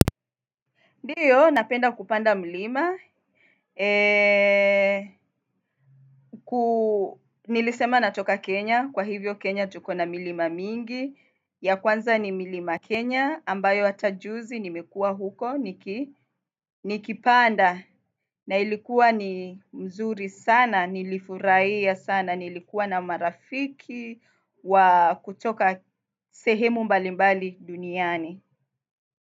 Ndiyo, napenda kupanda mlima, nilisema natoka Kenya, kwa hivyo Kenya tukona milima mingi, ya kwanza ni mlima Kenya, ambayo hata juzi nimekua huko, nikipanda, na ilikuwa ni mzuri sana, nilifurahia sana, nilikuwa na marafiki, wa kutoka sehemu mbalimbali duniani.